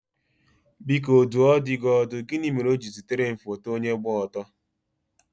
Biko dùọ dị ọdù, gịnị mere ọ̀ jiri zitere m foto onye gba ọtọ?